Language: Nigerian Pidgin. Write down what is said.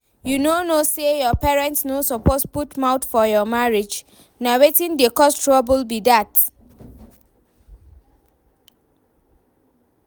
You no know say your parents no suppose put mouth for your marriage? Na wetin dey cause trouble be dat